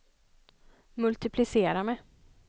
multiplicera med